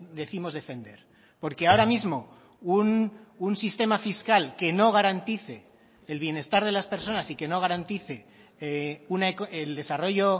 décimos defender porque ahora mismo un sistema fiscal que no garantice el bienestar de las personas y que no garantice el desarrollo